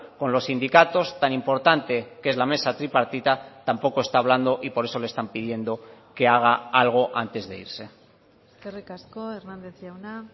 con los sindicatos tan importante que es la mesa tripartita tampoco está hablando y por eso le están pidiendo que haga algo antes de irse eskerrik asko hernández jauna